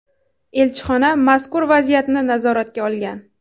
Elchixona mazkur vaziyatni nazoratga olgan.